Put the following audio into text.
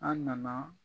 An nana